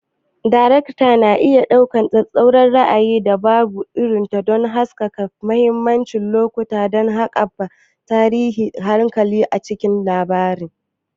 Daraktoci na iya amfani da tsattsauran ra'ayi da dabaru don haskaka mahimman lokuta ko haɓaka tashin hankali a cikin labari.